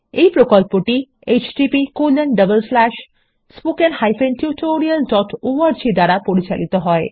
এই প্রকল্পটি httpspoken tutorialorg দ্বারা পরিচালিত হয়